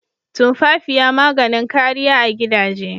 Tumfafiya maganin kariya a gidaje.